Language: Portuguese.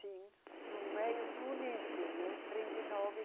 Sim, no meio, no início, né? Trinta e nove